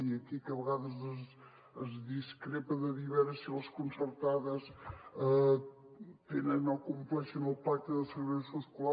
i aquí que a vegades es discrepa de dir a veure si les concertades tenen o compleixen el pacte de segregació escolar